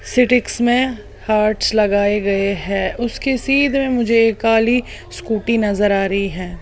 सिटीक्स में हार्टस लगाए गए है उसके सीधे में मुझे एक काली स्कूटी नजर आ रही है।